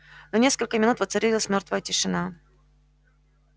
на несколько минут воцарилась мёртвая тишина